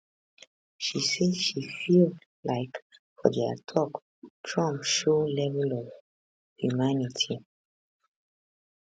she say she feel like for dia tok trump show level of humanity